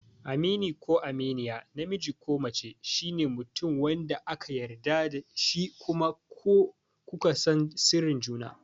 Amini ko Aminiya, namiji ko mace, shine mutum wanda aka yarda da shi kuma ku ka san sirrin juna.